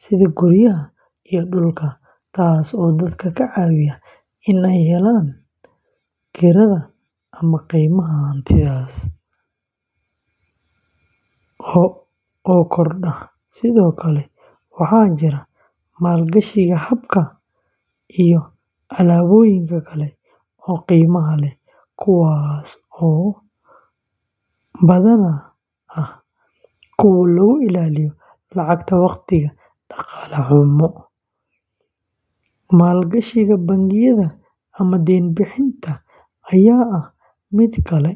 sida guryaha iyo dhulalka, taas oo dadka ka caawisa in ay helaan kirada ama qiimaha hantidaas oo kordha. Sidoo kale, waxaa jira maalgashiga dahabka iyo alaabooyinka kale ee qiimaha leh, kuwaas oo badanaa ah kuwo lagu ilaaliyo lacagta waqtiga dhaqaale xumo. Maalgashiga bangiyada ama deyn-bixinta ayaa ah mid kale, halkaas oo qofku ku shubto lacag bangi si uu u helo dulsaar.